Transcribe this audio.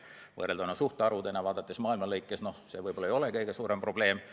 Kui võrrelda suhtarve, vaadates maailma lõikes, siis see võib-olla ei ole kõige suurem probleem.